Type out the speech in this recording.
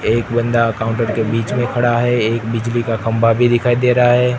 एक बंदा काउंटर के बीच में खड़ा है एक बिजली का खंभा भी दिखाई दे रहा है।